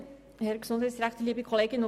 Somit sind wir bei Ziffer 5.